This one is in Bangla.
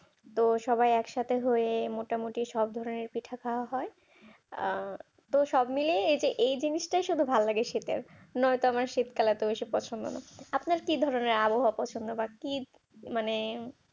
তো সবাই একসাথে হয়ে মোটামুটি সব ধরনের পিঠা খাওয়া হয় তোর সব মিলেই এই জিনিসটা শুধু ভালো লাগে শীতের নয়তো আমরা শীতকাল এত পছন্দ নয় আপনার কি ভালো লাগে আবহাওয়া কি মানে